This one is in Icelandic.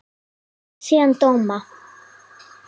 Og las síðan dóma.